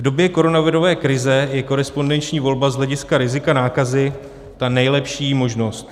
V době koronavirové krize je korespondenční volba z hlediska rizika nákazy ta nejlepší možnost.